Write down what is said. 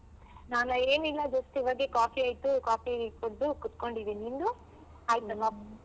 ನಾನಾ ಏನಿಲ್ಲ just ಇವಾಗೆ coffee ಆಯ್ತು coffee ಕುಡ್ದು ಕೂತ್ಕೊಂಡಿದಿನ್ ನಿಂದು ಆಯ್ತಾ coffee ?